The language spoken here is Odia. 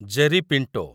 Jerry Pinto